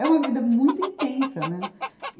É uma vida muito intensa, né? e